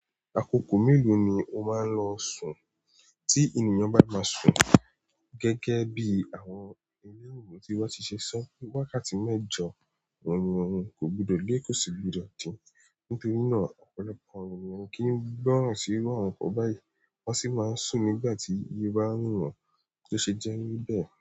Àkókò mélòó ni o máa ń lọ sùn tí ènìyàn bá fẹ́ sùn? Gẹ́gẹ́ bí àwọn ẹlẹ́wọ̀n tí wọ́n ti ṣe sọ pé, wákàtí mẹ́jọ ni ènìyàn kò gbọdọ̀ kéré sí, nítorí náà, ọ̀pọ̀lọpọ̀ ènìyàn kì í gbọ́ràn sí irú àròpọ̀ báyìí. Wọ́n sì máa ń sùn nígbà tí àárẹ̀ wọn bá dé.